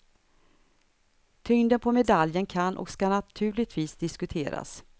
Tyngden på medaljen kan och ska naturligtvis diskuteras.